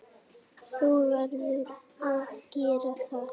Þú verður að gera það.